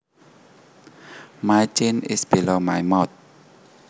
My chin is below my mouth